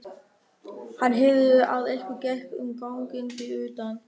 Hann heyrði að einhver gekk um ganginn fyrir utan.